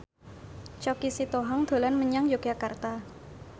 Choky Sitohang dolan menyang Yogyakarta